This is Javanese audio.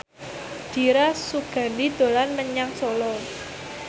Dira Sugandi dolan menyang Solo